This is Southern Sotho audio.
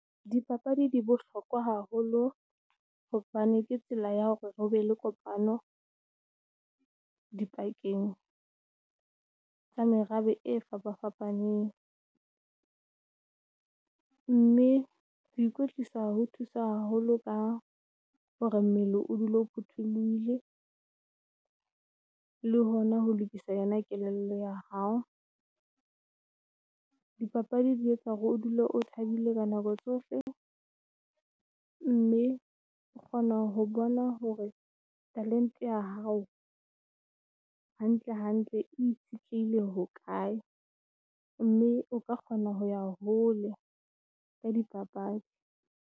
Dipapadi di bohlokwa haholo hobane ke tsela ya hore hobe le kopano di pakeng tsa merabe e fapa fapaneng. Mme ho ikwetlisa ho thusa haholo ka hore mmele o dule o phuthuluhile , le hona ho lokisa yona kelello ya hao. Dipapadi di etsa hore o dule o thabile ka nako tsohle, mme o kgona ho bona hore talent-e ya hao hantle hantle. E itshitlehile ho kae. Mme o ka kgona ho ya hole ka di papadi.